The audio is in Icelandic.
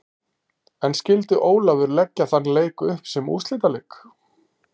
En skyldi Ólafur leggja þann leik upp sem úrslitaleik?